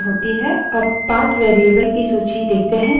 अब path path variable की value देखते हैं